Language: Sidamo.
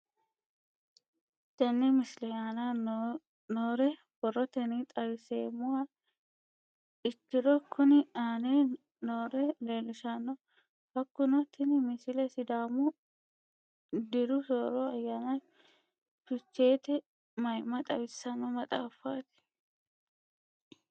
Tenne misile aana noore borrotenni xawisummoha ikirro kunni aane noore leelishano. Hakunno tinni misile sidaamu diru soorro ayaana fichcheete mayimma xawisanno maxaafaati.